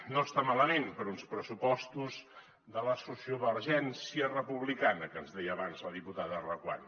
no està malament per a uns pressupostos de la sociovergència republicana que ens deia abans la diputada reguant